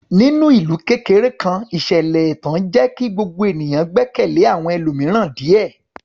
Ní ìlú kékeré kan, ìṣẹ̀lẹ̀ ẹ̀tàn jẹ́ kí gbogbo ènìyàn gbẹ́kẹ̀lé àwọn ẹlòmíràn díẹ̀.